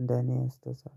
እንደኔ አስተሳሰብ